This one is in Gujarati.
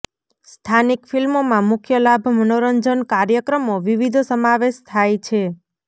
સ્થાનિક ફિલ્મોમાં મુખ્ય લાભ મનોરંજન કાર્યક્રમો વિવિધ સમાવેશ થાય છે